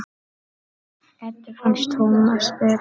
Eddu fannst Tómas betra.